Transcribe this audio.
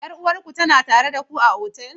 Yar uwarku tana tare da ku a otal?